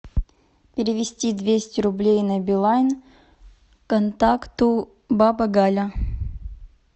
перевести двести рублей на билайн контакту баба галя